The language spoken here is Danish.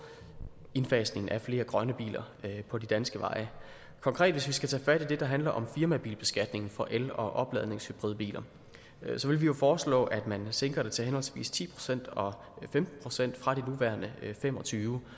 indfasningen af flere grønne biler på de danske veje hvis konkret skal tage fat i det der handler om firmabilbeskatning for el og opladningshybridbiler vil vi jo foreslå at man sænker det til henholdsvis ti procent og femten procent fra de nuværende fem og tyve